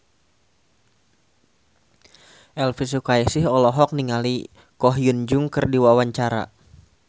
Elvy Sukaesih olohok ningali Ko Hyun Jung keur diwawancara